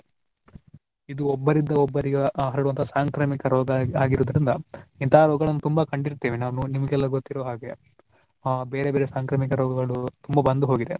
ಇದು ಒಬ್ಬರಿಂದ ಒಬ್ಬರಿಗೆ ಹ~ ಹರುಡುವ ಸಾಂಕ್ರಾಮಿಕ ರೋಗ ಆಗಿರುವುದರಿಂದ ಇಂತಹ ರೋಗಗಳನ್ನು ತುಂಬಾ ಕಂಡಿರ್ತೇವೆ ನಾವು ನಿಮಗೆಲ್ಲಾ ಗೊತ್ತಿರುವ ಹಾಗೆ ಆ ಬೇರೆ ಬೇರೆ ಸಾಂಕ್ರಾಮಿಕ ರೋಗಗಳು ತುಂಬಾ ಬಂದು ಹೋಗಿದೆ.